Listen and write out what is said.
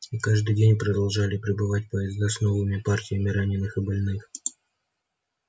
и каждый день продолжали прибывать поезда с новыми партиями раненых и больных